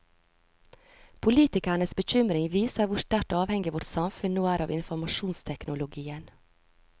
Politikernes bekymring viser hvor sterkt avhengig vårt samfunn nå er av informasjonsteknologien.